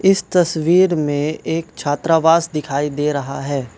इस तस्वीर में एक छात्रावास दिखाई दे रहा है।